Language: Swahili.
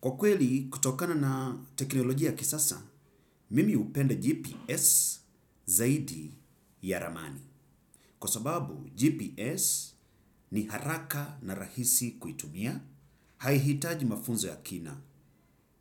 Kwa kweli, kutokana na teknolojia ya kisasa, mimi upenda GPS zaidi ya ramani. Kwa sababu, GPS ni haraka na rahisi kuitumia, haihitaji mafunzo ya kina.